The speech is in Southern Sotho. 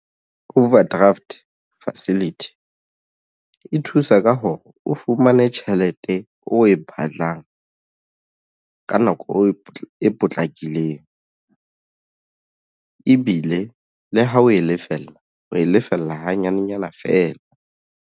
Overdraft facility e thusa ka hore o fumane tjhelete o e batlang ka nako e potlakileng ebile le ha o e lefella o e lefella ha nyanenyana feela.